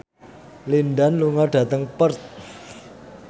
Lin Dan lunga dhateng Perth